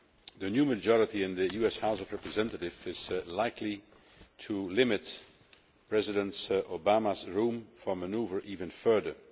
The new majority in the US House of Representatives is likely to limit President Obama's room for manoeuvre even further.